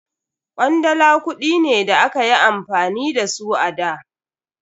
Kwandala kudi ne da akayi amfani da su a da.